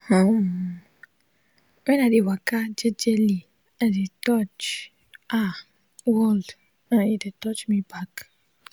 hmm- wen i de waka jejely i de touch ah world and e de touch me back